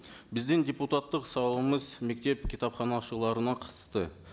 біздің депутаттық сауалымыз мектеп кітапханашыларына қатысты